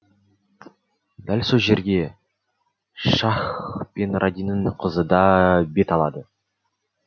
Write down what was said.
дәл сол жерге щакх пен ранидың қызыда бет алады